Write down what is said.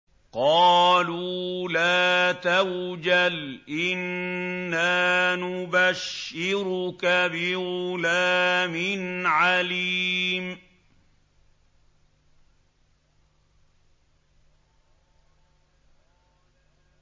قَالُوا لَا تَوْجَلْ إِنَّا نُبَشِّرُكَ بِغُلَامٍ عَلِيمٍ